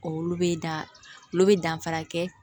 Olu bɛ dan olu bɛ danfara kɛ